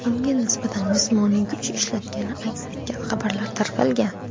unga nisbatan jismoniy kuch ishlatgani aks etgan xabarlar tarqalgan.